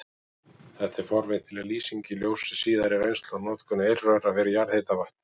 Þetta er forvitnileg lýsing í ljósi síðari reynslu af notkun eirröra fyrir jarðhitavatn.